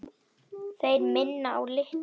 Þeir minna á Litla og